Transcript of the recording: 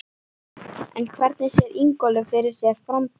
En hvernig sér Ingólfur fyrir sér framtíðina?